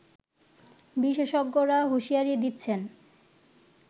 বিশেষজ্ঞরা হুঁশিয়ারি দিচ্ছেন